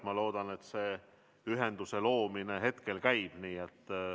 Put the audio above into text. Ma loodan, et see ühenduse loomine käib.